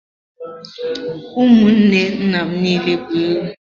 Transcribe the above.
Ụmụnne nna m niile bụ ewu.